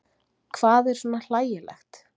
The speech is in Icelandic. Hvað er svona hlægilegt?